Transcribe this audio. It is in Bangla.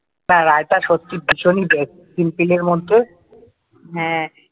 হ্যাঁ রায়তা সত্যিই ভীষণ easysimple এর মধ্যে ।